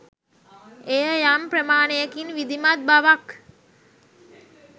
එය යම් ප්‍රමාණයකින් විධිමත් බවක්